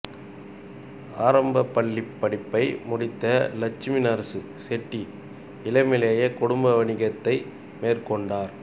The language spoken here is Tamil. ஆரம்பப் பள்ளிப் படிப்பை முடித்த லெட்சுமிநரசு செட்டி இளமையிலே குடும்ப வணிகத்தை மேற்கொண்டார்